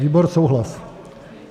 Výbor souhlas.